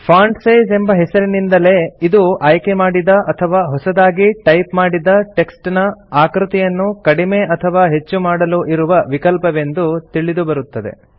font size ಎಂಬ ಹೆಸರಿನಿಂದಲೇ ಇದು ಆಯ್ಕೆಮಾಡಿದ ಅಥವಾ ಹೊಸತಾಗಿ ಟೈಪ್ ಮಾಡಿದ ಟೆಕ್ಸ್ಟ್ ನ ಆಕೃತಿಯನ್ನು ಕಡಿಮೆ ಅಥವಾ ಹೆಚ್ಚು ಮಾಡಲು ಇರುವ ವಿಕಲ್ಪವೆಂದು ತಿಳಿದುಬರುತ್ತದೆ